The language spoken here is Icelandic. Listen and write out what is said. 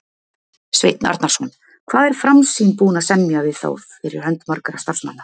Sveinn Arnarson: Hvað er Framsýn búin að semja við þá fyrir hönd margra starfsmanna?